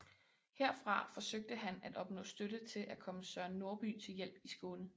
Herfra forsøgte han at opnå støtte til at komme Søren Norby til hjælp i Skåne